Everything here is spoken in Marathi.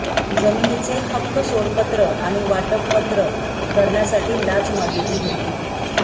जमिनीचे हक्कसोडपत्र आणि वाटप पत्र करण्यासाठी लाच मागितली होती